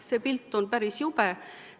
See pilt on päris jube.